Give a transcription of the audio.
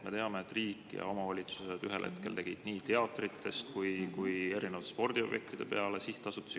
Me teame, et riik ja omavalitsused ühel hetkel tegid nii teatritest kui ka erinevatest spordiobjektidest sihtasutused.